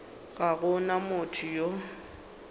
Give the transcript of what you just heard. ga go na motho yo